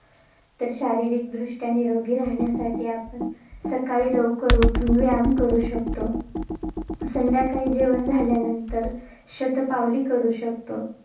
तर, शारीरिकदृष्ट्या निरोगी राहण्यासाठी आपण, सकाळी लवकर उठून व्यायाम करू शकतो. संध्याकाळी जेवण झाल्यानंतर शतपावली करू शकतो.